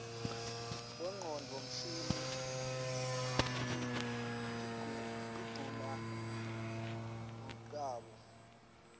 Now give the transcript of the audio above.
bonqconduo msihnl diquna ruqabo luati